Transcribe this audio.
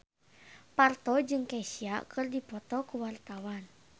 Parto jeung Kesha keur dipoto ku wartawan